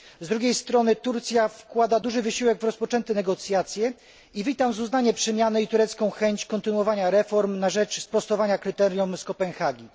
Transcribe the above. Z drugiej strony Turcja wkłada duży wysiłek w rozpoczęte negocjacje i witam z uznaniem przemiany i turecką chęć kontynuowania reform na rzecz sprostania kryteriom z Kopenhagi.